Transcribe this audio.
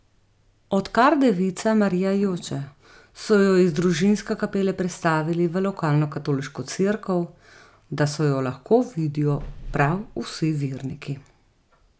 Odkar devica Marija joče, so jo iz družinske kapele prestavili v lokalno katoliško cerkev, da so jo lahko vidijo prav vsi verniki.